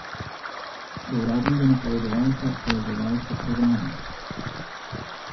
Do uradnega napovedovalca, povezovalca programa.